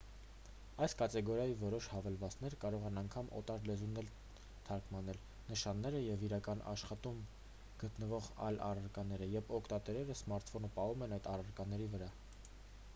այս կատեգորիայի որոշ հավելվածներ կարող են անգամ օտար լեզուներ թարգմանել նշանները և իրական աշխարհում գտնվող այլ առարկաները երբ օգտատերը սմարթֆոնը պահում է այդ առարկաների վրա